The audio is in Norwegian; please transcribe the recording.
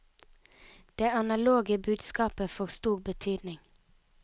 Det analoge budskapet får stor betydning.